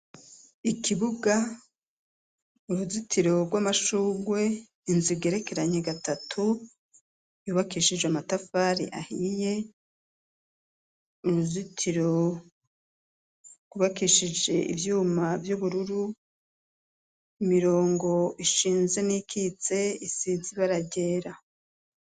Ikibuga, uruzitiro rw'amashurwe, inzu igerekeranye gatatu, yubakishije amatafari ahiye. Uruzitiro rwubakishije ivyuma vy'ubururu, imirongo ishinze n'iyikitse isizi ibara ryera.